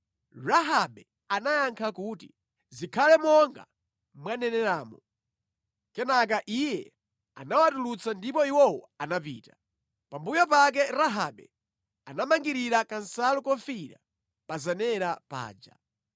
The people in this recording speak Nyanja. Rahabe anayankha kuti, “Zikhale monga mwaneneramo.” Kenaka iye anawatulutsa ndipo iwowo anapita. Pambuyo pake Rahabe anamangirira kansalu kofiira pa zenera paja.